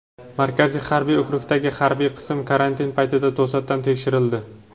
Markaziy harbiy okrugdagi harbiy qism karantin paytida to‘satdan tekshirildi.